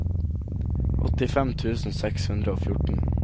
åttifem tusen seks hundre og fjorten